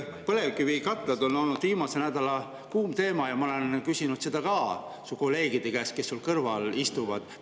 Põlevkivikatlad on olnud viimase nädala kuum teema ja ma olen küsinud seda ka su kolleegide käest, kes su kõrval istuvad.